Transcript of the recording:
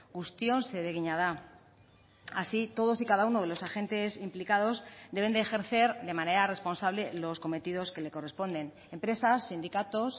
guztion zeregina da así todos y cada uno de los agentes implicados deben de ejercer de manera responsable los cometidos que le corresponden empresas sindicatos